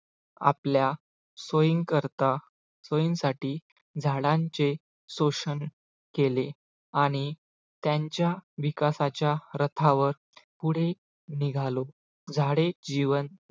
आपल्या सोयीनकरता सोयींसाठी झाडांचे शोषण केले आणि त्यांच्या विकासाच्या रथावर पुढे निघालो झाडे जीवन